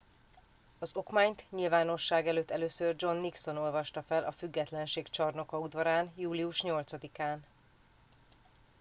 az okmányt nyilvánosság előtt először john nixon olvasta fel a függetlenség csarnoka udvarán július 8 án